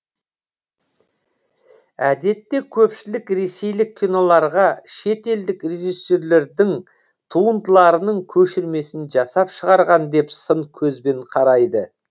әдетте көпшілік ресейлік киноларға шетелдік режиссерлердің туындыларының көшірмесін жасап шығарған деп сын көзбен қарайды